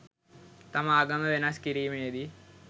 තම ආගම වෙනස් කිරීමේ දී